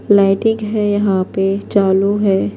.مٹنگ ہیں یحیٰ پی چالو ہیں